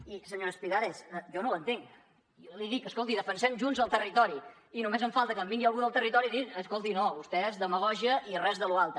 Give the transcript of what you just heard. i senyora espigares jo no ho entenc jo li dic escolti defensem junts el territori i només em falta que em vingui algú del territori a dir escolti no vostès demagògia i res de lo altre